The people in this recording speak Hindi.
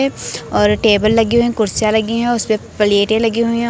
ए और टेबल लगी हुई हैं कुर्सियां लगी हैं और उसपे प्लेटें लगी हुई हैं।